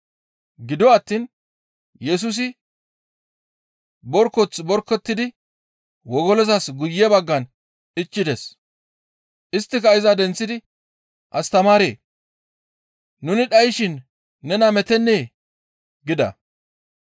Gido attiin Yesusi borkoth borkotidi wogolozas guye baggan ichchides. Isttika iza denththidi, «Astamaaree! Nuni dhayshin nena meettennee?» gida.